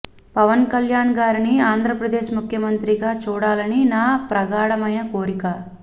పవన్ కల్యాణ్ గారిని ఆంద్ర ప్రదేశ్ ముఖ్యమంత్రి గా చూడాలని నా ప్రగాఢమైన కోరిక